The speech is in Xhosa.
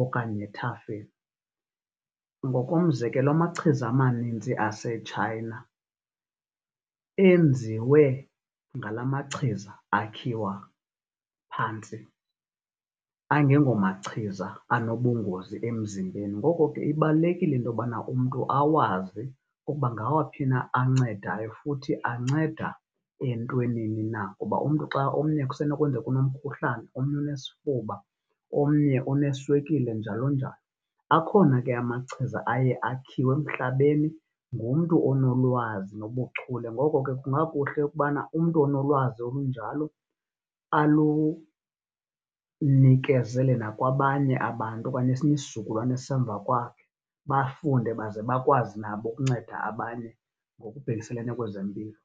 okanye ethafeni. Ngokomzekelo, amachiza amaninzi aseTshayina enziwe ngala machiza akhiwa phantsi angengomachiza anobungozi emzimbeni. Ngoko ke, ibalulekile intobana umntu awazi ukuba ngawaphi na ancedayo futhi anceda entwenini na. Kuba umntu xa omnye kusenokwenzeka unomkhuhlane omnye unesifuba omnye uneswekile njalo-njalo. Akhona ke amachiza aye akhiwe emhlabeni ngumntu onolwazi nobuchule. Ngoko ke, kungakuhle ukubana umntu onolwazi olunjalo alunikezele nakwabanye abantu okanye esinye isizukulwane esisemva kwakhe, bafunde baze bakwazi nabo ukunceda abanye ngokubhekisele kwezempilo.